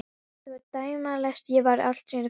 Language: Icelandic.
Þetta var dæmalaust, ég var alstrípaður fyrir henni.